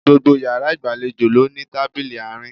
Gbogbo yàrá ìgbàlejò ló ní tábìlì àárín